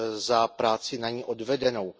za práci na ní odvedenou.